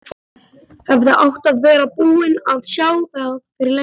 HEFÐI ÁTT AÐ VERA BÚIN AÐ SJÁ ÞAÐ FYRIR LÖNGU!